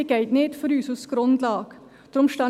Das geht nicht als Grundlage für uns.